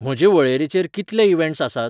म्हजे वळेरेचेर कितले इवँट्स आसात?